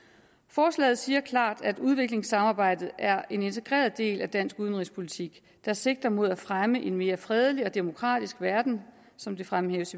forslaget siger klart at udviklingssamarbejdet er en integreret del af dansk udenrigspolitik der sigter mod at fremme en mere fredelig og demokratisk verden som det fremhæves